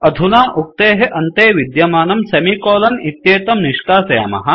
अधुना उक्तेः अन्ते विद्यमानं semi कोलोन इत्येतं निष्कासयामः